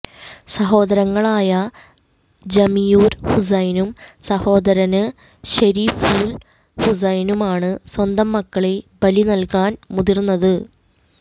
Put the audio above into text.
സഹോദരങ്ങളായ ജമീയുര് ഹുസൈനും സഹോദരന് ശെരീഫുല് ഹുസൈനുമാണ് സ്വന്തം മക്കളെ ബലി നല്കാന് മുതിര്ന്നത്